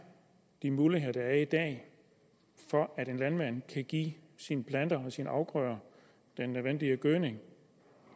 de muligheder der er i dag for at en landmand kan give sine planter og sine afgrøder den nødvendige gødning